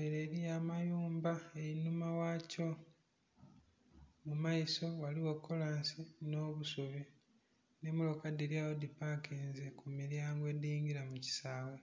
ere eriyo amayumba einhuma ghakyo mumaiso ghaligho kolansi n'obusubi n'emotoka dhiryagho dhipakinze kumiryango edhingira mukisaghe.